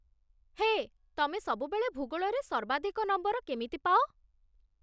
ହେଃ, ତମେ ସବୁବେଳେ ଭୂଗୋଳରେ ସର୍ବାଧିକ ନମ୍ବର କେମିତି ପାଅ?